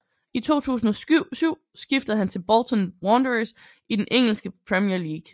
I 2007 skiftede han til Bolton Wanderers i den engelske Premier League